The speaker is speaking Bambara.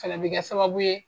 Fɛnɛ bi kɛ sababu ye